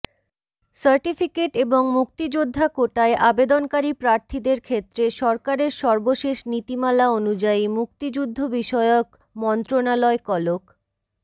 certificate এবং মুক্তিযোদ্ধা কোটায় আবেদনকারী প্রার্থীদের ক্ষেত্রে সরকারের সর্বশেষ নীতিমালা অনুযায়ী মুক্তিযুদ্ধ বিষয়ক মন্ত্রণালয় কলক